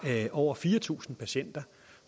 over fire tusind patienter